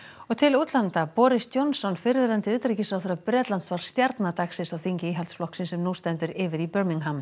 boris Johnson fyrrverandi utanríkisráðherra Bretlands var stjarna dagsins á þingi Íhaldsflokksins sem nú stendur yfir í